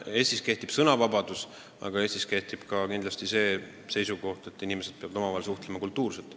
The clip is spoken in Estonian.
Eestis kehtib sõnavabadus, aga Eestis kehtib kindlasti ka seisukoht, et inimesed peavad omavahel suhtlema kultuurselt.